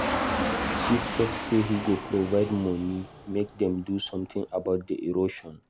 Chief talk say he go provide money make dem do something about the erosion.